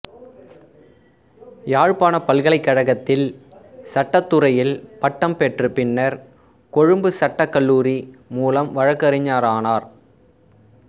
யாழ்ப்பாணப் பல்கலைக்கழகத்தில் சட்டத்துறையில் பட்டம் பெற்று பின்னர் கொழும்பு சட்டக் கல்லூரி மூலம் வழக்கறிஞரானார்